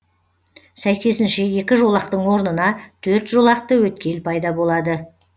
сәйкесінше екі жолақтың орнына төрт жолақты өткел пайда болады